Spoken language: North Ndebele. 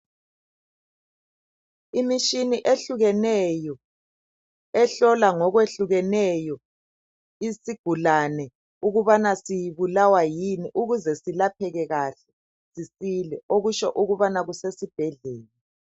Imishini ehlukeneyo ehlola ngokwehlukeneyo isigulane ukubana sibulawa yini ukuze silapheke kahle sisile okusho ukubana kusesibhedlela.